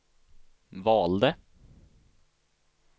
valde